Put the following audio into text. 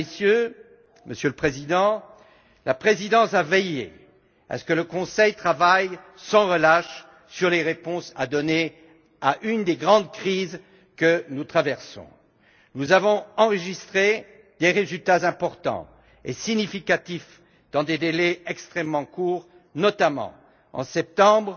Mesdames, Messieurs, Monsieur le Président, la présidence a veillé à ce que le Conseil travaille sans relâche sur les réponses à apporter à une des grandes crises que nous traversons. Nous avons enregistré des résultats importants et significatifs dans des délais extrêmement courts, notamment, en septembre,